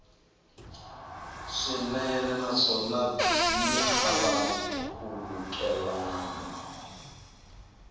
swinene naswona byi hava nkhulukelano